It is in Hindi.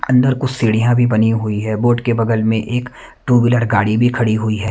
अंदर कुछ सीढ़ियां भी बनी हुई है बोर्ड के बगल में एक टू व्हीलर गाड़ी भी खड़ी हुई है।